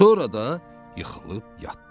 Sonra da yıxılıb yatdı.